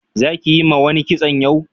za ki Yi ma wani kitson yau?